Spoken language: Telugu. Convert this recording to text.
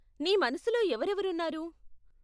నీ మనసులో ఎవరెవరు ఉన్నారు?